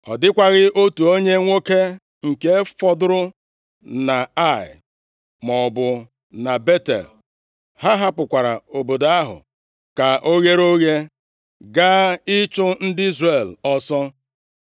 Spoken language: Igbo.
Ọ dịkwaghị otu onye nwoke nke fọdụrụ na Ai maọbụ na Betel. Ha hapụkwara obodo ahụ ka o ghere oghe, gaa ịchụ ndị Izrel ọsọ.